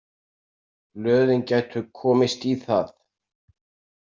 Blöðin gætu komist í það.